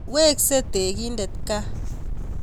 Weksei tekindet gaa